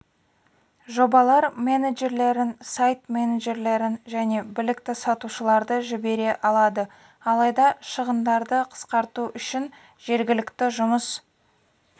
жобалар менеджерлерін сайт менеджерлерін және білікті сатушыларды жібере алады алайда шығындарды қысқарту үшін жергілікті жұмыс